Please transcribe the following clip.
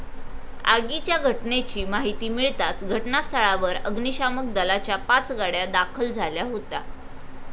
आगीच्या घटनेची माहिती मिळताच घटनास्थळावर अग्निशामक दलाच्या पाच गाड्या दाखल झाल्या होत्या.